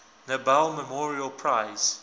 nobel memorial prize